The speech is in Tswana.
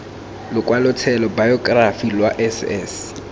lokwalotshelo bayokerafi lwa s s